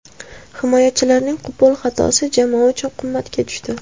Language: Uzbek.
Himoyachilarning qo‘pol xatosi jamoa uchun qimmatga tushdi.